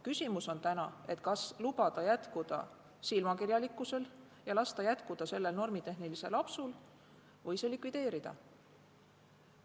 Küsimus on selles, kas lubada jätkuda silmakirjalikkusel ja sellel normitehnilisel apsul või see likvideerida.